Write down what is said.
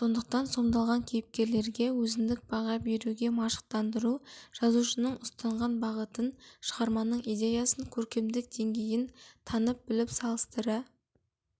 сондықтан сомдалған кейіпкерлерге өзіндік баға беруге машықтандыру жазушының ұстанған бағытын шығарманың идеясын көркемдік деңгейін танып-біліп салыстыра